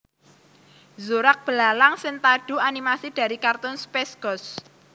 Zorak belalang sentadu animasi dari kartun Space Ghost